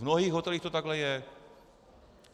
V mnohých hotelích to takhle je.